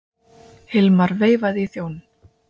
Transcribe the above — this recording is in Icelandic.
Hilmar veifaði í þjóninn.